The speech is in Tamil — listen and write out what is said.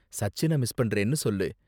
சச்சின மிஸ் பண்றேன்னு சொல்லு.